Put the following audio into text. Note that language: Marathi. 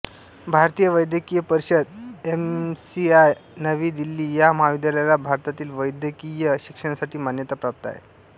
भारतीय वैद्यकीय परिषद एमसीआय नवी दिल्ली या महाविद्यालयाला भारतातील वैद्यकीय शिक्षणासाठी मान्यता प्राप्त आहे